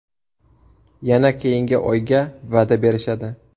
Yana keyingi oyga va’da berishadi.